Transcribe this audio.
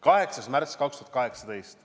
8. märts 2018.